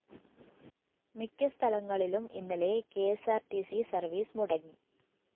മിക്ക സ്ഥലങ്ങളിലും ഇന്നലെ K S R T C service മുടങ്ങി